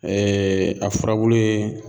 Ɛɛɛ a furabulu ye